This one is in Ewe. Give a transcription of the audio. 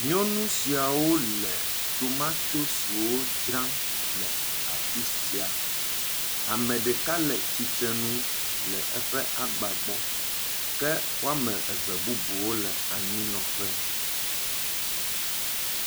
Nyɔnu siawo le tomatosi dzram le afi sia. Ame ɖeka le tsitrenule eƒe agba gbɔ. Ke wo ame eve bubuwo le anyinɔƒe.